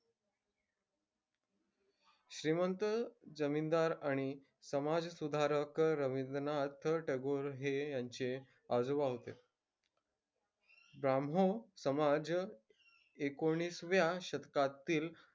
श्रीमंत जमीनदार आणि समाजसुधारक रवींद्रनाथ टागोर हे यांचे आजोबा होते. ब्राह्मो समाज एकोणिसाव्या शतकातील,